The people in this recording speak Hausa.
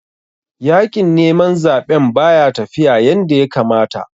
Yaƙin neman zaɓen baya tafiya yanda ya kamata